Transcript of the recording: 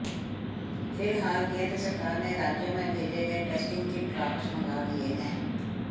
फिलहाल केंद्र सरकार ने राज्यों में भेजे गए टेस्टिंग किट वापस मंगा लिए हैं